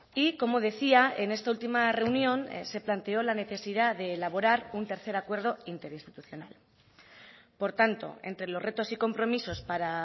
y como decía en esta última reunión se planteó la necesidad de elaborar un tercer acuerdo interinstitucional por tanto entre los retos y compromisos para